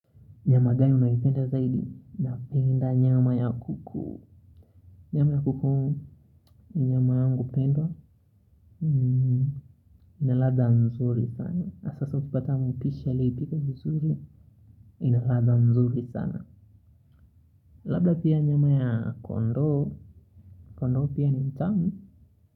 Nyama gani unayoipenda zaidi napenda nyama ya kuku nyama ya kuku ni nyama yangu pendwa inaladha mzuri sana na sasa ukipata mpishi aliyeipika vizuri inaladha mzuri sana labda pia nyama ya kondoo kondoo pia ni mtamu.